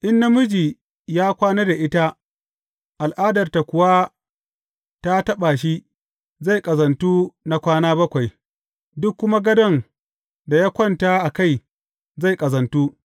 In namiji ya kwana da ita, al’adarta kuwa ta taɓa shi, zai ƙazantu na kwana bakwai; duk kuma gadon da ya kwanta a kai, zai ƙazantu.